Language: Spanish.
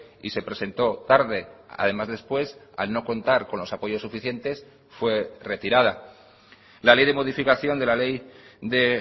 y se presentó tarde además después al no contar con los apoyos suficientes fue retirada la ley de modificación de la ley de